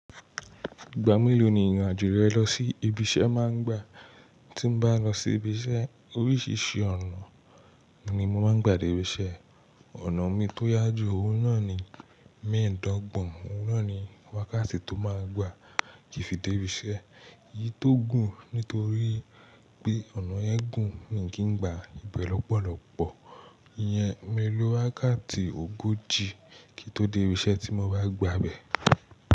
Igba meloo ni ìrìn àjò rẹ lọ sí ibi iṣẹ́ máa ń gbà? Tí n bá n lọ sí ibi iṣẹ́ oríṣìíríṣìí ọ̀nà ni mo máa ń gbà dé ibi iṣẹ́. Ọ̀nà mi tó yá jù, òun náà ni mẹ́ẹ̀ẹ́dọ́gbọ̀n. Òun náà ni wákàtí tó máa gbà kí fi dé ibi iṣẹ́. Èyí tó gùn nítorí pé ọ̀nà yẹn gùn mii kí ń gbà a. Bẹ́ lọ́pọ̀lọ́pọ̀ yẹn, mi lo wákàtí ogójì kí n tó dé ibi iṣẹ́ tí mo bá gbà bẹ̀.